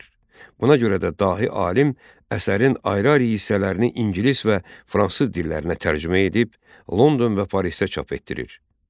Buna görə də dahi alim əsərin ayrı-ayrı hissələrini ingilis və fransız dillərinə tərcümə edib, London və Parisdə çap etdirir.